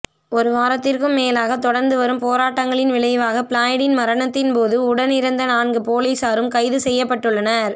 ஒரு வாரத்திற்கும் மேலாக தொடர்ந்து வரும் போராட்டங்களின் விளைவாக ஃப்ளாய்ட்டின் மரணத்தின்போது உடனிருந்த நான்கு போலீஸாரும் கைது செய்யப்பட்டுள்ளனர்